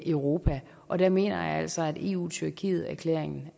europa og der mener jeg altså at eu tyrkiet erklæringen